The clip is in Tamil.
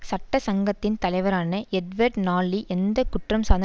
சட்ட சங்கத்தின் தலைவரான எட்வர்ட் நால்லி எந்த குற்றம் சார்ந்த